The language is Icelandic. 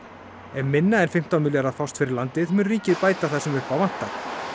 ef minna en fimmtán milljarðar fást fyrir landið mun ríkið bæta það sem upp á vantar